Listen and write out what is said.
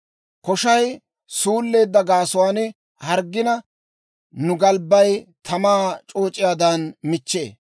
Koshay suulleedda gaasuwaan harggina, nu galbbay tamaa c'ooc'iyaadan michchee.